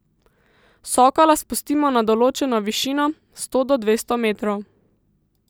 Sokola spustimo na določeno višino, sto do dvesto metrov.